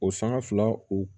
O sanga fila u